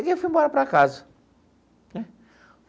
E eu fui embora para casa.